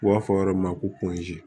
U b'a fɔ yɔrɔ min ma ko